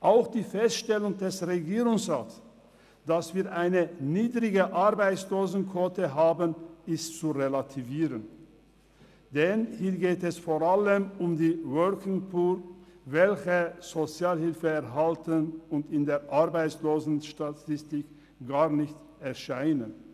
Auch die Feststellung des Regierungsrats, dass wir eine niedrige Arbeitslosenquote haben, ist zu relativieren, denn hier geht es vor allem um die «Working Poor», welche Sozialhilfe erhalten und in der Arbeitslosenstatistik gar nicht erscheinen.